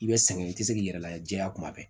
I bɛ sɛgɛn i tɛ se k'i yɛrɛ layɛ diɲɛ kuma bɛɛ